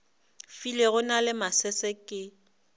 filego na le masese ke